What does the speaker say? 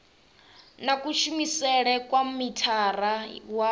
na kushumele kwa mithara wa